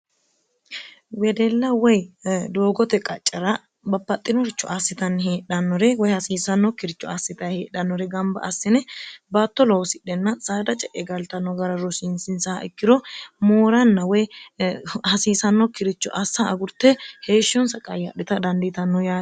wedella woy doogote qaccera bapaxxinoricho assitanni heedhannore woy hasiisannok kiricho assita heedhannore gamba assine baatto loosidhenna saada ce'e galtanno gara rosiinsinsaha ikkiro mooranna woy hasiisanno kiricho assa agurte heeshshunsa qayyaadhita dandiitanno yane